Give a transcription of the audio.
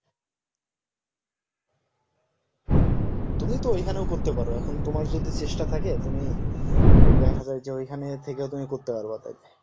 তুমি তো এখানেও করতে পারো এখন তোমার যদি চেষ্টা থাকে তুমি দেখা গেল যে এখানে থেকে তুমি করতে পারবা